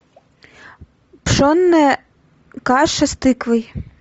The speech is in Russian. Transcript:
пшенная каша с тыквой